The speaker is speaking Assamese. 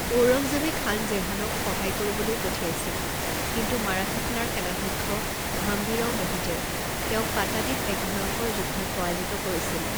ঔৰংজেবে খান জেহানক সহায় কৰিবলৈ পঠিয়াইছিল, কিন্তু মাৰাঠা সেনাৰ সেনাধ্যক্ষ হাম্বিৰাও মোহিতে তেওঁক পাটাদিত এক ভয়ংকৰ যুদ্ধত পৰাজিত কৰিছিল।